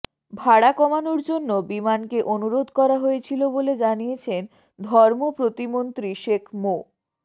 ভাড়া কমানোর জন্য বিমানকে অনুরোধ করা হয়েছিল বলে জানিয়েছেন ধর্মপ্রতিমন্ত্রী শেখ মো